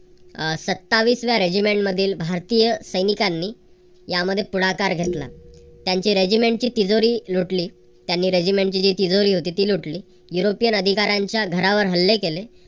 अह सत्तावीस व्या regiment मधील भारतीय सैनिकांनी यामध्ये पुढाकार घेतला. त्यांची regiment ची तिजोरी लुटली त्याने regiment ची तिजोरीची होती ती लुटली. युरोपियन अधिकारांच्या घरावर हल्ले केले.